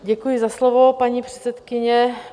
Děkuji za slovo, paní předsedkyně.